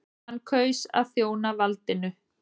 Hann kaus að þjóna valdinu.